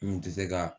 N kun tɛ se ka